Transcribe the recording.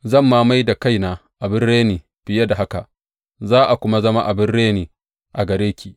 Zan ma mai da kaina abin reni fiye da haka, za a kuma zama abin reni a gare ki.